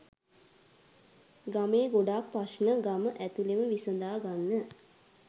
ගමේ ගොඩක් ප්‍රශ්ණ ගම ඇතුලෙම විසඳාගන්න